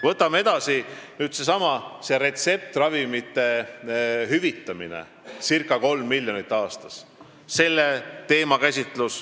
Võtame edasi, seesama retseptiravimite hüvitamine circa kolm miljonit aastas.